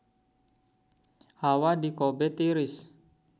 Hawa di Kobe tiris